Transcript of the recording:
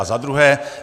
A za druhé.